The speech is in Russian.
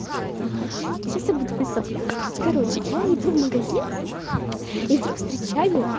это будут выставляться короче я иду в магазин иду встречай